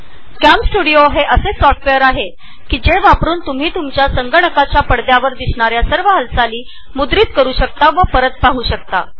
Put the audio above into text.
CamStudio हे असे software आहे जे संगणकावरील सर्व हालचाली मुद्रीत करते आणि त्या तुम्ही परत पाहू शकता